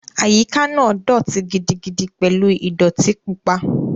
Àyíká náà dọ̀ọ̀tí gidigidi pẹ̀lú ìdọ̀ọ̀tí pupa